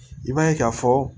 I b'a ye k'a fɔ